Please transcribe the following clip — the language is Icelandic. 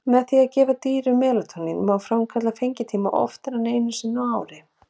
Með því að gefa dýrum melatónín má framkalla fengitíma oftar en einu sinni á ári.